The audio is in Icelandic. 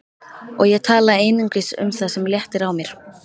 Og ég tala einungis um það sem léttir á mér.